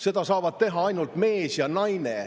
Seda saavad teha ainult mees ja naine.